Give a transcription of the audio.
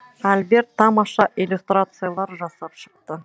альберт тамаша иллюстрациялар жасап шықты